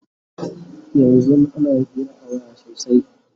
yanzun ana Hira a waya sosai